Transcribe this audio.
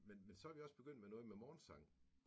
Men men så er vi også begyndt med noget med morgensang